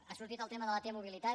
ha sortit el tema de la t mobilitat